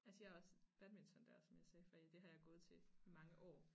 Altså jeg er også badmintonlærer som jeg sagde før det har jeg gået til i mange år